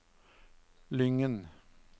Lyngen